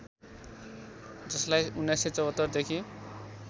जसलाई १९७४ देखि